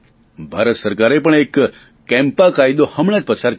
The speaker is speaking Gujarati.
ભારત સરકારે પણ એક કેમ્પા કાયદો હમણા જ પસાર કર્યો